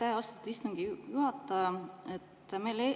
Aitäh, austatud istungi juhataja!